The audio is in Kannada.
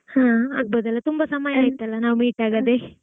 ಹಾ ಆಗಬೋದಲ್ಲಾ ತುಂಬಾ ಸಮಯ ಆಯ್ತಲ್ಲಾ ನಾವು meet ಆಗದೆ?